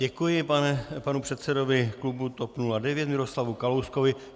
Děkuji panu předsedovi klubu TOP 09 Miroslavu Kalouskovi.